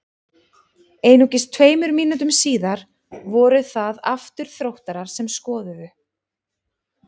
Einungis tveimur mínútum síðar voru það aftur Þróttarar sem skoruðu.